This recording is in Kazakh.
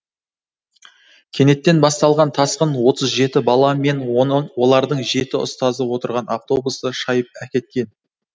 кенеттен басталған тасқын отыз жеті бала мен олардың жеті ұстазы отырған автобусты шайып әкеткен